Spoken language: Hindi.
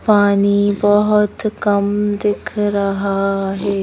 पानी बहुत कम दिख रहा है ।